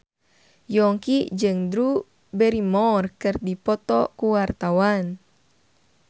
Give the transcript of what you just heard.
Yongki jeung Drew Barrymore keur dipoto ku wartawan